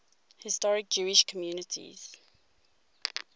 historic jewish communities